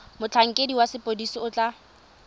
motlhankedi wa sepodisi o tla